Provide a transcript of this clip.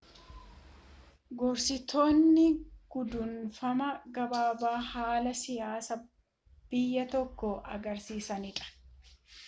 gorsitootni gudunfaama gabaabaa haala siyaasa biyyya tokkoo agarsiisanidha